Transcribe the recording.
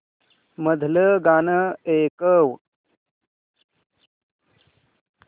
मधलं गाणं ऐकव